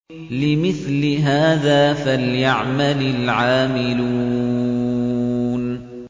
لِمِثْلِ هَٰذَا فَلْيَعْمَلِ الْعَامِلُونَ